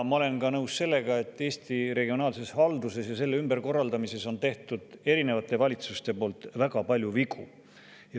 Ma olen nõus ka sellega, et Eesti regionaalses halduses ja selle ümberkorraldamises on tehtud erinevate valitsuste poolt väga palju vigu.